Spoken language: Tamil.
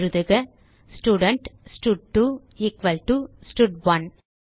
எழுதுக student stud equal to stud one